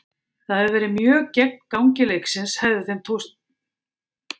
Það hefði verið mjög gegn gangi leiksins hefði þeim tekist að skora.